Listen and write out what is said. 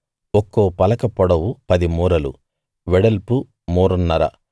ఒక్కో పలక పొడవు పది మూరలు వెడల్పు మూరన్నర